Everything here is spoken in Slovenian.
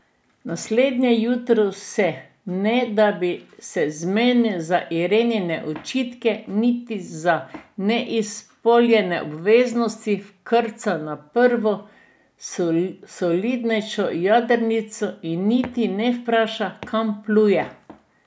Naslednje jutro se, ne da bi se zmenil za Irenine očitke niti za neizpolnjene obveznosti, vkrca na prvo solidnejšo jadrnico in niti ne vpraša, kam pluje.